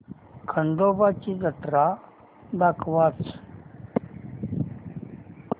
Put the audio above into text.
खंडोबा ची जत्रा दाखवच